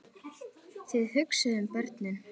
Þið hugsið um börnin.